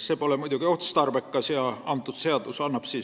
See pole muidugi otstarbekas ja eelnõu annabki